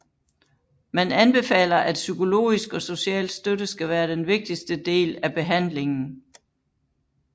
Man anbefaler at psykologisk og social støtte skal være den vigtigste del af behandlingen